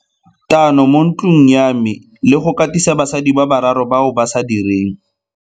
Tano mo ntlong ya me le go katisa basadi ba bararo bao ba sa direng.